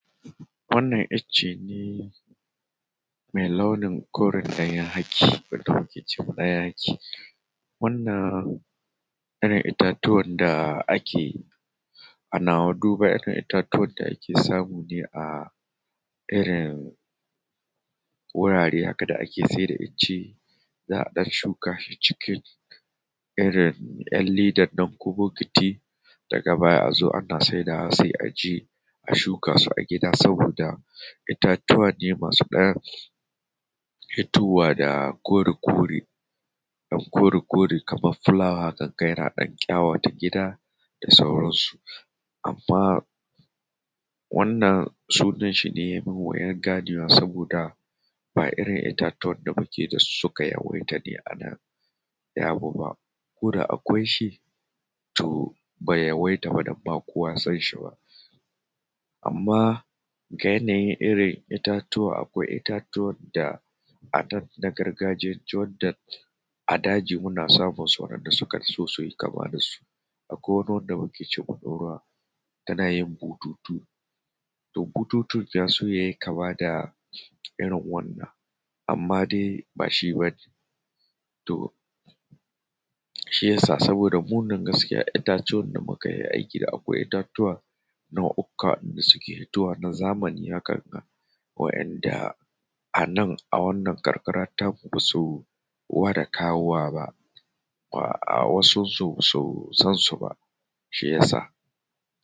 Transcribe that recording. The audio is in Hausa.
Wannan icce ne mai launin koren layan haki wanda muke ce ma layan haki. Wannan irin itatuwan da ake ana duba irin itatuwan da ake samu ne a irin wurare haka da ake sai da icce. Za a ɗan shuka shi cikin irin ƴar ledan nan ko botiki daga baya a zo ana saidawa sai a je a shuka su a gida saboda itatuwa ne masu ɗan fitowa da kore kore ɗan kore kore haka kaman fulawa haka za ka ga yana ɗan ƙyawata gida da sauransu. Amman wannan sunan shi ne mai wuyan ganewa saboda ba irin itatuwan da muke da su suka yawaita a nan ba, koda akwai shi to bai yawaita a nan ba kowa ya san shi ba. Amman ga yanayin irin itatuwa akwai itatuwan da a nan na gargajiya Jordan a daji muna samun su waɗanda su ka so su yi kama da su, akwai wani wanda muke cewa ɗorawa tana yin bututu. To bututun ya so yayi kama da irin wannan amman dai ba shi bane. To shi yasa saboda mu nan itatuwan da muka yi aiki akwai itatuwa nau'uka da suke hitowa na zamani haka wa'inda a nan a wannan karkara ta mu ba su gwada kawowa ba, a wasun su ba su san su ba shi ya sa.